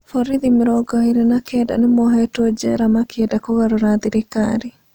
Borithi mĩrongo ĩrĩ na kenda nĩmohetwe jera makĩenda kũgarũra thirikari